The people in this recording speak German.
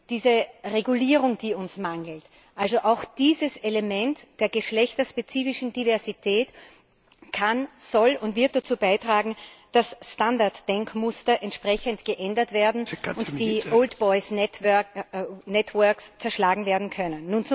Diese Regulierung, die uns fehlt, also auch dieses Element der geschlechterspezifischen Diversität kann, soll und wird dazu beitragen, dass Standarddenkmuster entsprechend geändert und die Old Boys´ Networks zerschlagen werden können.